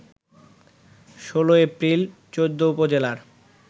১৬ April ১৪ উপজেলার